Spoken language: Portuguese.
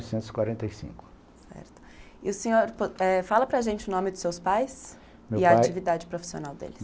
Quarenta e cinco. E o senhor fala para gente o nome dos seus pais e a atividade profissional deles.